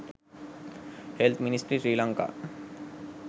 health ministry srilanka